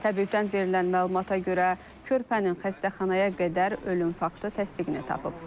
Təbibdən verilən məlumata görə, körpənin xəstəxanaya qədər ölüm faktı təsdiqini tapıb.